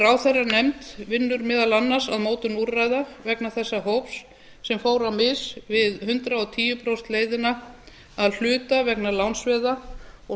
ráðherranefnd vinnur meðal annars að mótun úrræða vegna þessa hóps sem fór á mis við hundrað og tíu prósenta leiðina að hluta vegna lánsveða og